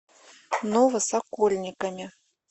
новосокольниками